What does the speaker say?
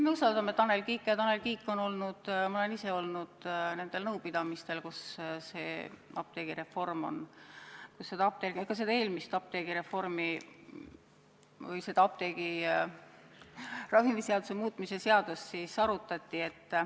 Me usaldame Tanel Kiike ja ma olen ise olnud koos Tanel Kiigega nõupidamistel, kus on arutatud seda apteegireformi ehk ravimiseaduse muutmist.